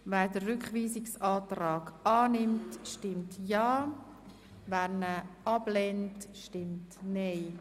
Wer den Rückweisungsantrag annimmt, stimmt ja, wer ihn ablehnt, stimmt nein.